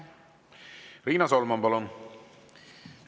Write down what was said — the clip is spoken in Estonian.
Riina Solman, palun!